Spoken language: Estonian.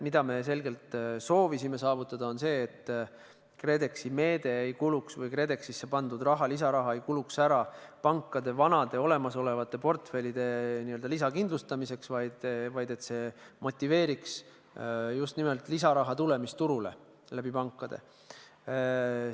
Mida me selgelt soovisime saavutada, on see, et KredEx-isse pandud lisaraha ei kuluks ära pankade vanade olemasolevate portfellide n-ö lisakindlustamiseks, vaid et see motiveeriks just nimelt lisaraha tulemist turule pankade kaudu.